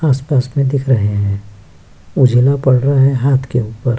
आस-पास में दिख रहे हैं उझला पड़ रहा है हाथ के ऊपर --